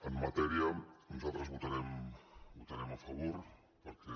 en matèria nosaltres votarem a favor perquè